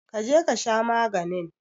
Kaje kasha maganin.